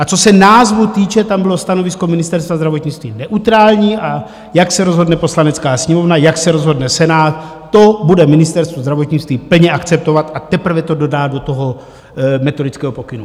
A co se názvu týče, tam bylo stanovisko Ministerstva zdravotnictví neutrální, a jak se rozhodne Poslanecká sněmovna, jak se rozhodne Senát, to bude Ministerstvo zdravotnictví plně akceptovat a teprve to dodá do toho metodického pokynu.